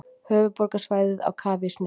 Höfuðborgarsvæðið á kafi í snjó